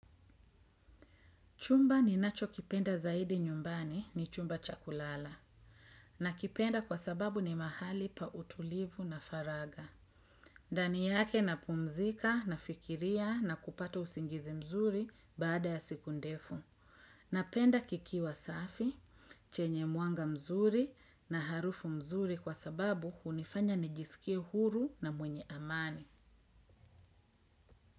Chumba ninachokipenda zaidi nyumbani ni chumba cha kulala. Nakipenda kwa sababu ni mahali pa utulivu na faraga. Ndani yake napumzika nafikiria na kupata usingizi mzuri baada ya siku ndefu. Napenda kikiwa safi, chenye mwanga mzuri na harufu mzuri kwa sababu hunifanya nijisikie huru na mwenye amani.